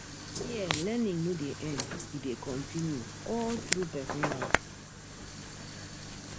Here, learning no dey end, e dey continue all through person life